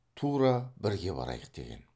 тура бірге барайық деген